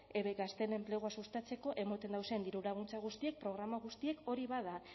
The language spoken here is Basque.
beka stem enplegua sustatzeko ematen dauzen dirulaguntza guztiak programa guztiek hori bada